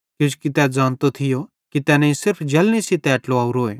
किजोकि तै ज़ानतो थियो कि तैनेईं सिर्फ जलनी सेइं तै ट्लावारोए